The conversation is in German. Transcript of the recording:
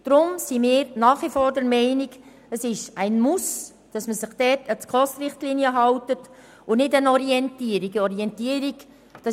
Deshalb sind wir nach wie vor der Meinung, dass es ein Muss ist, sich an die SKOS-Richtlinien zu halten und diese nicht einfach als Orientierung dienen sollen.